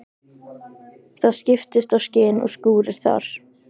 Það skiptast á skin og skúrir þar.